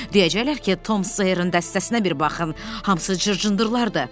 Deyəcəklər ki, Tom Seyerin dəstəsinə bir baxın, hamısı cır-cındırdı.